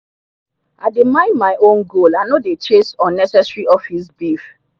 i dey mind my own goal i no dey chase unnecessary office beef.